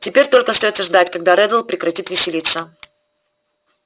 теперь только остаётся ждать когда реддл прекратит веселиться